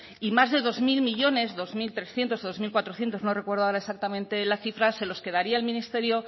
y más de dos mil millónes dos mil trescientos o dos mil cuatrocientos no recuerdo ahora exactamente la cifra se los quedaría el ministerio